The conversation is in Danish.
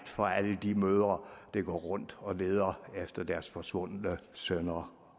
for alle de mødre der går rundt og leder efter deres forsvundne sønner